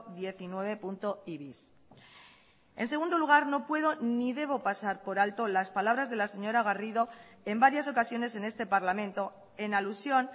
diecinuevei bis en segundo lugar no puedo ni debo pasar por alto las palabras de la señora garrido en varias ocasiones en este parlamento en alusión